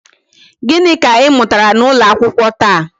Gịnị ka ị mụtara n'ụlọ akwụkwọ taa?